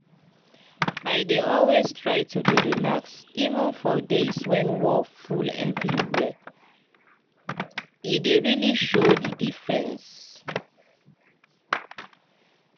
i dey always try to dey relax even for days when wor full everywhere e dey really show the diffreence